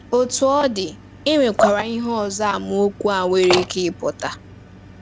Otú ọ dị, e nwekwara ihe ọzọ amaokwu a nwere ike ịpụta.